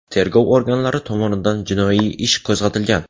Tergov organlari tomonidan jinoiy ish qo‘zg‘atilgan.